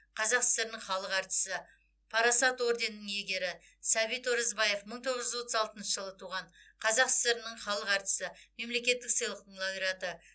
қазақ сср інің халық әртісі парасат орденінің иегері сәбит оразбаев мың тоғыз жүз отыз алтыншы жылы туған қазақ сср інің халық әртісі мемлекеттік сыйлықтың лауреаты